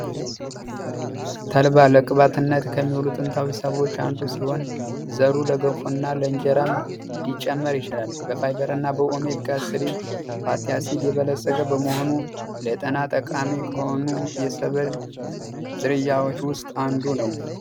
ተልባ ለቅባትነት ከሚውሉት ጥንታዊ ሰብሎች አንዱ ሲሆን ዘሩ ለገንፎ እና እንጀራም ሊጨመር ይችላል። በኦሜጋ እና ፋቲአሲድ የበለፀገ በመሆኑ ለጤና ጠቃሚ ከሆኑ የሰብል ዝርያዎች ውስጥ አንዱ ነው።